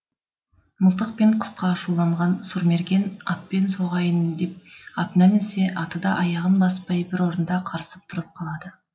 мылтық пен құсқа ашуланған сұрмерген атпен соғайын деп атына мінсе аты да аяғын баспай бір орында қарысып тұрып қалады